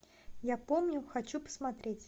я помню хочу посмотреть